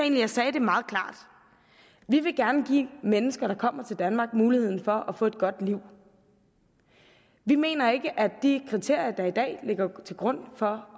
jeg sagde det meget klart vi vil gerne give mennesker der kommer til danmark muligheden for at få et godt liv vi mener ikke at de kriterier der i dag ligger til grund for